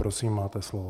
Prosím, máte slovo.